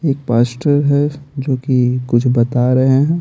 एक पास्टर है जो कि कुछ बता रहे हैं।